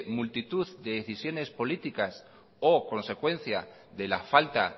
multitud de decisiones políticas o consecuencia de la falta